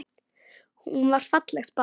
Hún var fallegt barn.